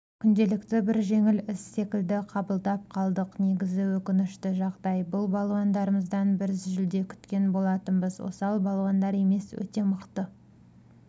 күнделікті бір жеңіл іс секілді қабылдап қалдық негізі өкінішті жағдай бұл балуандарымыздан біз жүлде күткен болатынбыз осал балуандар емес өте мықты